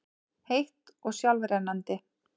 heitt og sjálfrennandi.